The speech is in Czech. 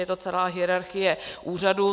Je to celá hierarchie úřadů.